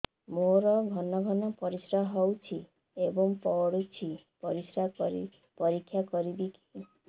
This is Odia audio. ମୋର ଘନ ଘନ ପରିସ୍ରା ହେଉଛି ଏବଂ ପଡ଼ୁଛି ପରିସ୍ରା ପରୀକ୍ଷା କରିବିକି